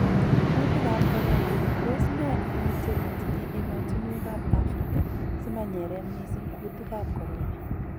Kuutik ab corona: Tos nee ungutiet netinye emotunwek ab Afrika simanyeren mising kuutik ab corona.